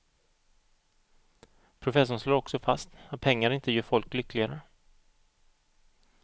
Professorn slår också fast att pengar inte gör folk lyckligare.